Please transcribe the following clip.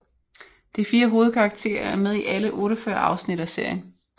De 4 hovedkarakterer er med i alle 48 afsnit af serien